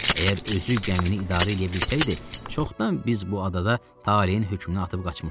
Əgər özü gəmini idarə eləyə bilsəydi, çoxdan biz bu adada taleyin hökmünə atıb qaçmışdıq.